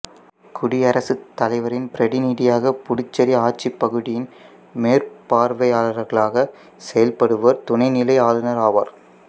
குடியரசுத்தலைவரின் பிரதிநிதியாக புதுச்சேரி ஆட்சிப்பகுதியின் மேற்பார்வையாளர்களாக செயல்படுவர் துணைநிலை ஆளுநர் ஆவார்